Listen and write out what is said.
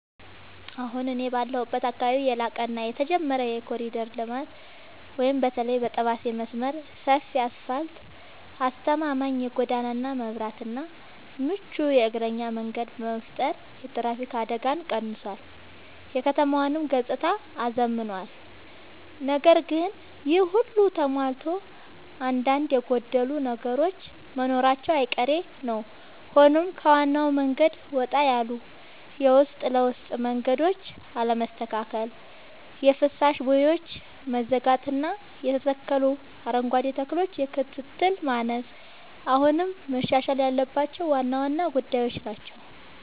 አሁን እኔ ባለሁበት አካባቢ ያለቀ እና የተጀመረ የኮሪደር ልማት (በተለይ የጠባሴ መስመር) ሰፊ አስፋልት: አስተማማኝ የጎዳና መብራትና ምቹ የእግረኛ መንገድ በመፍጠር የትራፊክ አደጋን ቀንሷል: የከተማዋንም ገጽታ አዝምኗል። ነገር ግን ይሄ ሁሉ ተሟልቶ አንዳንድ የጎደሉ ነገሮች መኖራቸው አይቀሬ ነዉ ሆኖም ከዋናው መንገድ ወጣ ያሉ የውስጥ ለውስጥ መንገዶች አለመስተካከል: የፍሳሽ ቦዮች መዘጋጋትና የተተከሉ አረንጓዴ ተክሎች የክትትል ማነስ አሁንም መሻሻል ያለባቸው ዋና ዋና ጉዳዮች ናቸው።